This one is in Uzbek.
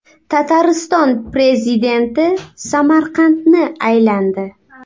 Tatariston prezidenti Samarqandni aylandi.